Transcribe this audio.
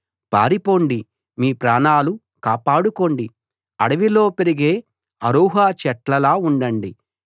పారిపోండి మీ ప్రాణాలు కాపాడుకోండి అడవిలో పెరిగే అరూహ చెట్లలా ఉండండి